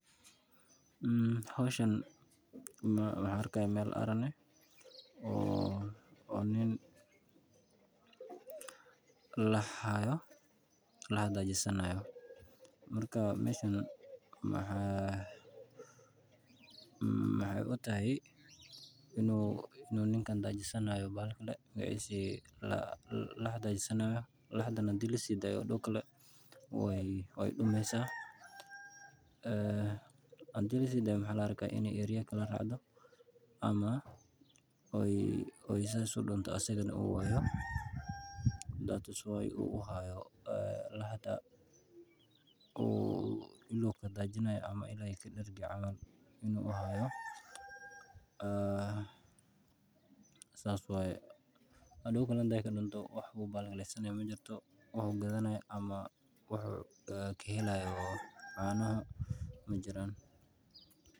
Howshan waxaan arki haaya meel aaran ah oo nin lax haayo oo coos siini haayo meeshan waxaay ila tahay inuu ninkan lax dajisan haayo hadii lasiidayo waay dumesya waa la haaya ilaa aay kadargi saas waye.